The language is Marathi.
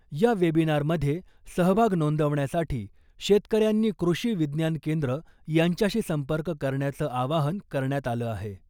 या वेबिनार मधे सहभाग नोंदवण्यासाठी शेतकऱ्यांनी कृषि विज्ञान केंद्र यांच्याशी संपर्क करण्याचं आवाहन करण्यात आलं आहे .